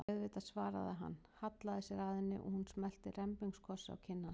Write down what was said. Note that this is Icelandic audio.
Auðvitað, svaraði hann, hallaði sér að henni og hún smellti rembingskossi á kinn hans.